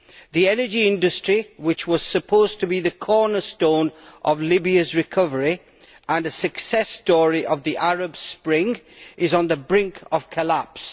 The energy industry, which was supposed to be the cornerstone of Libya's recovery and a success story of the Arab Spring, is on the brink of collapse.